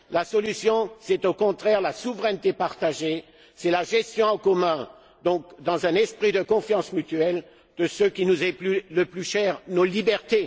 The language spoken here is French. La solution est, au contraire, la souveraineté partagée, c'est la gestion en commun, dans un esprit de confiance mutuelle, de ce qui nous est le plus cher nos libertés.